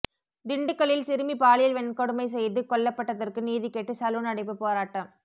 திண்டுக்கலில் சிறுமி பாலியல் வன்கொடுமை செய்து கொல்லப்பட்டதற்கு நீதிகேட்டு சலூன் அடைப்பு போராட்டம்